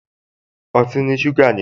Ọtí ní ṣúgà nínú